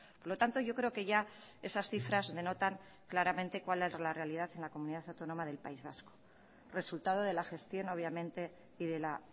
por lo tanto yo creo que ya esas cifras denotan claramente cuál es la realidad en la comunidad autónoma del país vasco resultado de la gestión obviamente y de la